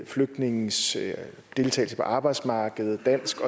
flygtnings deltagelse på arbejdsmarkedet dansk